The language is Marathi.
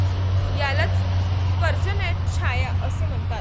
यालाच पर्जन्यछाया असे म्हणतात.